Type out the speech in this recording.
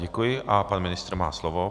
Děkuji a pan ministr má slovo.